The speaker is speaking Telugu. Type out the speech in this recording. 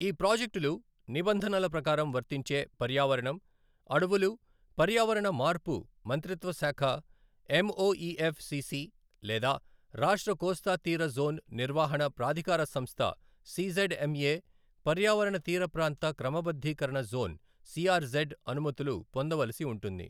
ఈ ప్రాజెక్టులు నిబంధనల ప్రకారం వర్తించే పర్యావరణం, అడవులు పర్యావరణ మార్పు మంత్రిత్వ శాఖ ఎంఒఇఎఫ్ సిసి లేదా రాష్ట్ర కోస్తాతీర జోన్ నిర్వహణ ప్రాథికార సంస్థ సిజెడ్ ఎంఎ పర్యావరణ తీర ప్రాంత క్రమబద్ధీకరణ జోన్ సిఆర్జెడ్ అనుమతులు పొందవలసి ఉంటుంది.